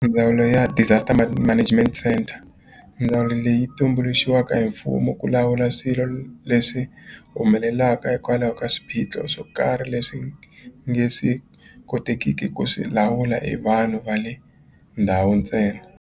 Ndzawulo ya Disaster Management Centre ndzawulo leyi tumbuluxiwaka hi mfumo ku lawula swilo leswi humelelaka hikwalaho ka swiphiqo swo karhi leswi nge swi kotekiki ku swi lawula hi vanhu va le ndhawu ntsena.